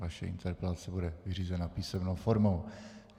Vaše interpelace bude vyřízena písemnou formou.